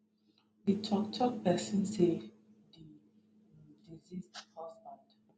di toktok pesin say di deceased husband